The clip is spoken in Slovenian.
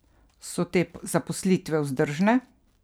So te zaposlitve vzdržne?